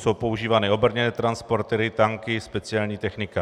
Jsou používány obrněné transportéry, tanky, speciální technika.